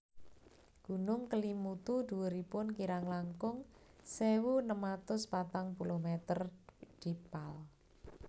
Gunung Kelimutu dhuwuripun kirang langkung sewu enem atus patang puluh meter dpal